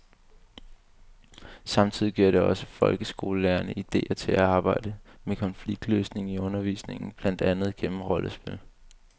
Samtidig giver det også folkeskolelærerne idéer til at arbejde med konfliktløsning i undervisningen, blandt andet gennem rollespil.